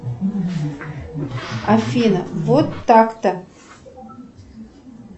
афина вот так то